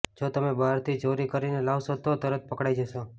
જો તમે બહારથી ચોરી કરીને લાવશો તો તરત પકડાઇ જશો